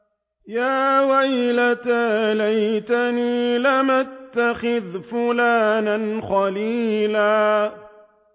يَا وَيْلَتَىٰ لَيْتَنِي لَمْ أَتَّخِذْ فُلَانًا خَلِيلًا